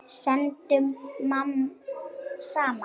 Syndum saman.